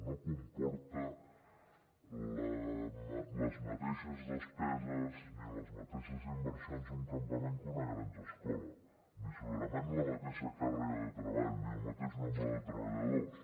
no comporta les mateixes despeses ni les mateixes inversions un campament que una granja escola ni segurament la mateixa càrrega de treball ni el mateix nombre de treballadors